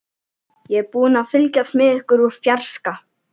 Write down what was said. Ég er búin að fylgjast með ykkur úr fjarska.